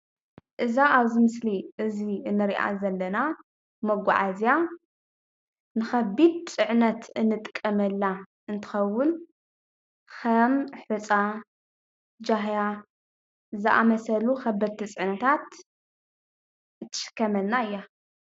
እዛ ኣብዚ ምስሊ እዚ እንሪኣ ዘለና መጓዓዝያ ንኸቢድ ፅዕነት እንጥቀመላ እንትኸውን ኸም ሕፃ፣ ጃህያ ዝኣምሰሉ ኸበድቲ ፅዕነታት ትሽከመልና እያ፡፡